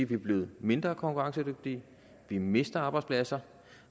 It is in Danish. vi er blevet mindre konkurrencedygtige vi mister arbejdspladser